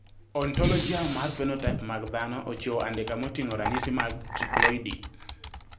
Ontologia mar phenotype mag dhano ochiwo andika moting`o ranyisi mag Triploidy.